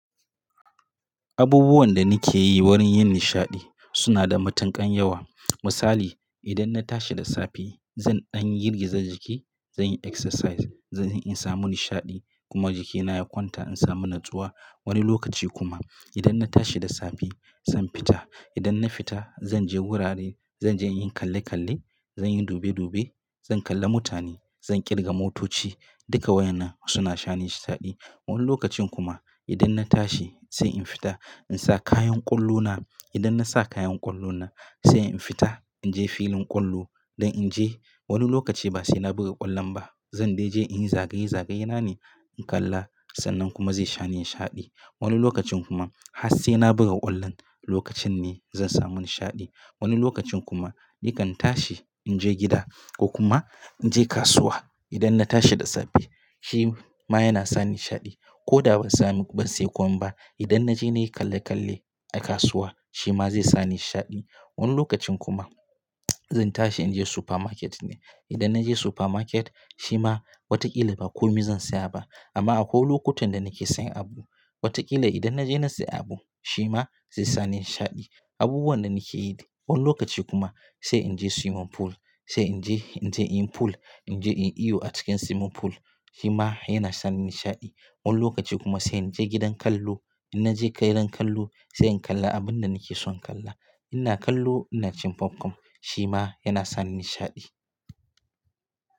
Abubuwan da nake yi wurin yin nishaɗi suna da matuƙan yawa. Misali, idan na tashi da safe zan dan yi girgizar jiki, zan yi exercise, zan in samu nishaɗi kuma jikina ya kwanta in samu natsuwa. Wani lokaci kuma idan na tashi da safe zan fita. Idan na fita zan je wurare, zan je in yi kalle kalle, zan yi dube dube, zan kalla mutane, zan kirga motoci. Duka wayanna suna sha ni nishaɗi. Wani lokacin kuma idan na tashi sai in fita in sa kayan ƙwallo na. Idan na sa kayan ƙwallo na sai in fita in je filin ƙwallo don in je. Wani lokaci ba sai na buga ƙwallon ba, zan dai je in yi zagaye zagaye na ne in kalla sannan kuma zai sha ni nishaɗi. Wani lokacin kuma har sai na buga ƙwallon lokacin ne zan samu nishaɗi. Wani lokacin kuma nikan tashi in je gida ko kuma in je kasuwa. Idan na tashi da safe shi ma yana sa ni nishaɗi. Ko da ban samu ban sayi komai ba, idan na je na yi kalle kalle a kasuwa shi ma zai sa ni nishaɗi. Wani lokacin kuma zan tashi in je supermarket ne. Idan na je supermarket shi ma watakila ba komai zan saya ba amma akwai lokutan da nake sayan abu. Watakila idan na je na sayi abu shi ma zai sa ni nishaɗi. Abubuwan da nake yi. Wani lokaci kuma sai in je swimming pool, sai in je in je in yi pool, in je in iyo a cikin swimming pool shi ma yana sa ni nishaɗi. Wani lokaci kuma sai in je gidan kallo. In na je gidan kallo sai in kalla abin da nake son kalla. Ina kallo ina cin popcorn shi ma yana sa ni nishaɗi.